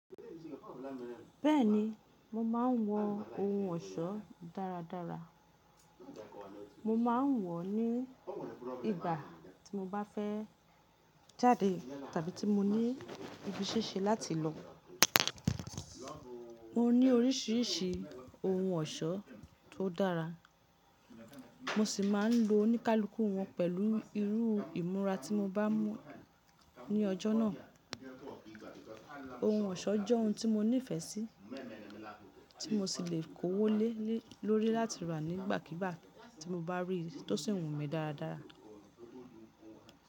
Bẹ́ẹ̀ni, mo máa ń wọ ohun ọ̀ṣọ́ dára dára. Mo máa ń wọ̀ ọ́ ní ìgbà tí mo bá fẹ́ jáde tàbí tí mo ní ibi íṣẹ́ se láti lọ. Mo ní oríṣìíríṣìí ohun ọ̀ṣọ́ tó dára, mo sì máa ń lo oníkálukù wọ́n pẹ̀lú irú ìmúra tí mo bá mú ní ọjọ́ náà. Ohun ọ̀ṣọ́ jẹ́ ohun tí mo nífẹ̀ẹ́ sí, tí mo sì lè kówó le lórí láti rà nígbàkíigbà tí mo bá rí i tó sì wu mi dáadaq.